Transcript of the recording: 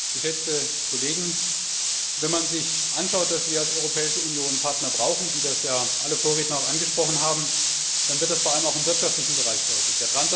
Frau Präsidentin! Geschätzte Kollegen! Wenn man sich anschaut, dass wir als Europäische Union Partner brauchen, wie das ja alle Vorredner auch angesprochen haben, dann wird das vor allem auch im wirtschaftlichen Bereich deutlich.